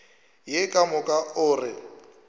ye ka moka o re